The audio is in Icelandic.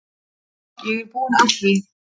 Ég er búinn að því.